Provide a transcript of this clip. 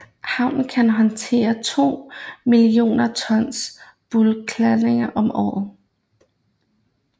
Havnen kan håndtere to millioner tons bulkladninger om året